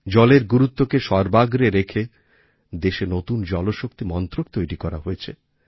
জলের গুরুত্বকে সর্বাগ্রে রেখে দেশে নতুন জলশক্তি মন্ত্রক তৈরি করা হয়েছে